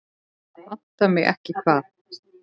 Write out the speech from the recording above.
Vantar mig ekki hvað?